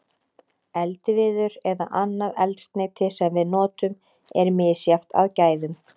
Eldiviður eða annað eldsneyti sem við notum er misjafnt að gæðum.